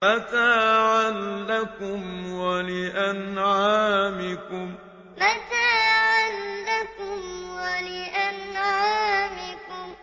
مَتَاعًا لَّكُمْ وَلِأَنْعَامِكُمْ مَتَاعًا لَّكُمْ وَلِأَنْعَامِكُمْ